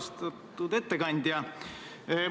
Austatud ettekandja!